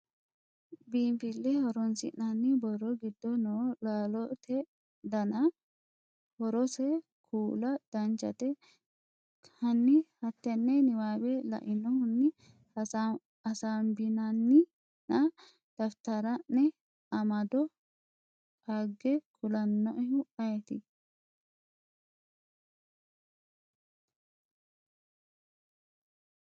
biinfile hooronsinani borro giddo noo laalote dananna horose kula Danchate, hanni hattenne niwaawe lainohunni hasaabbinannina daftara’ne amado qaage kulannoehu ayeeti?